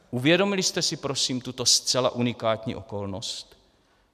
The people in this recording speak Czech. Uvědomili jste si prosím tuto zcela unikátní okolnost?